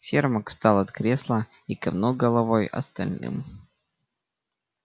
сермак встал от кресла и кивнул головой остальным